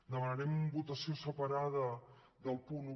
demanarem votació separada del punt un